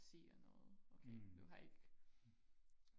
der siger noget okay du har ikke